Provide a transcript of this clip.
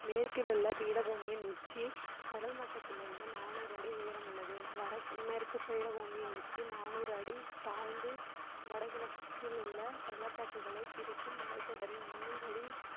மேற்கிலுள்ள பீடபூமியின் உச்சி கடல் மட்டத்திலிருந்து நானூறு அடி உயரமுள்ளது வடக்~ மேற்குபீடபூமியின் உச்சி நானூறு அடி தாழ்ந்து வடகிழக்கிலுள்ள பள்ளத்தாக்குகளை பிடிக்கும் மலைத்தொடரின் முந்நூறு அடி